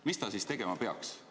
Mis ta siis tegema peaks?